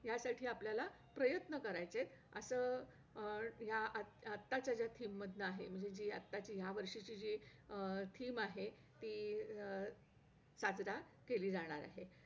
आमच्या शाळेत सकाळी नऊ ते दहा अ परिपाठ पण व्हयचा.त्याच्यामध्ये सु सुविचार , गोष्टी अ आणखी प्रार्थना म्हणायचो.